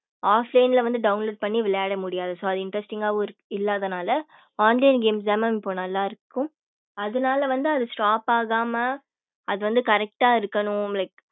offline ல வந்து download பண்ணி விளையாடமுடியாது so அது interesting ஆவும் இல்லாத நால online games த இப்போ நல்ல இருக்கும் அது நாலா வந்து அது stop ஆகாம அது வந்து correct ஆஹ் இருக்கனும் like